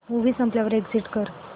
movie संपल्यावर exit कर